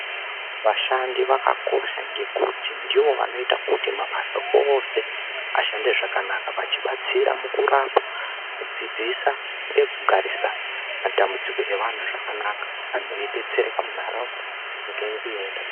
Vashandi vakakosha ngekuti ndivo vanoita kuti mabasa ose ashande zvakanaka vachibatsira mukurapa, kudzidzisa ngekugarisa matambudziko evantu zvakanaka. Vantu veibetsereka munharaunda nyika yedu yoenda mberi.